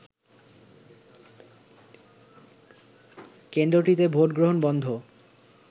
কেন্দ্রটিতে ভোটগ্রহণ বন্ধ